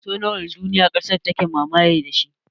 Kaso nawa na duniya ƙasa take mamaye da shi?